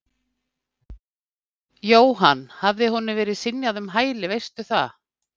Jóhann: Hafði honum verið synjað um hæli, veistu það?